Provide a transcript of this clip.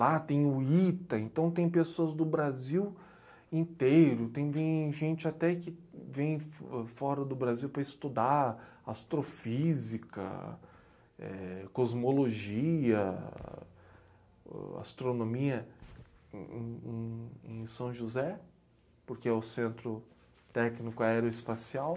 Lá tem o ITA, então tem pessoas do Brasil inteiro, tem vem gente até que vem fo fora do Brasil para estudar astrofísica, eh, cosmologia, ahn, astronomia em em em em São José, porque é o centro técnico aeroespacial.